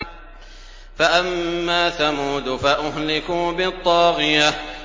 فَأَمَّا ثَمُودُ فَأُهْلِكُوا بِالطَّاغِيَةِ